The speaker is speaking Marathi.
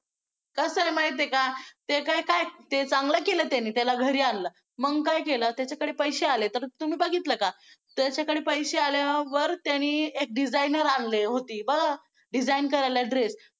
कसं आहे माहिती आहे का ते काय काय ते चांगलं केलं त्यांनी त्याला घरी आणलं. मग काय केलं त्याच्याकडे पैसे आले तर तुम्ही बघितलं का त्याच्याकडे पैसे आल्यावर त्यांनी एक designer आणले होती बरं design करायला dress